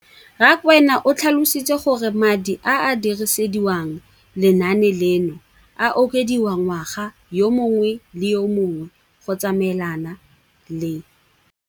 Rakwena o tlhalositse gore madi a a dirisediwang lenaane leno a okediwa ngwaga yo mongwe le yo mongwe go tsamaelana le.